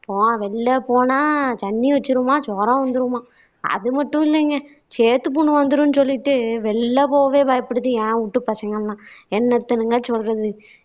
போ வெளில போனா ஜன்னி வச்சுருமாம் ஜுரம் வந்துருமாம் அது மட்டும் இல்லீங்க சேத்துப்புண் வந்துரும்னு சொல்லிட்டு வெளில போகவே பயப்புடுது என் வூட்டு பசங்க எல்லாம் என்னத்தனுங்க சொல்றது